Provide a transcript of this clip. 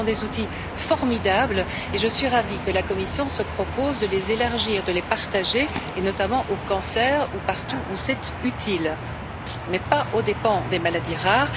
Ce sont des outils formidables et je suis ravie que la Commission se propose de les élargir, de les partager, notamment au cancer ou partout où c'est utile, mais pas aux dépens des maladies rares.